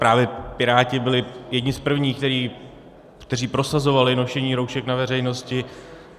Právě Piráti byli jedni z prvních, kteří prosazovali nošení roušek na veřejnosti.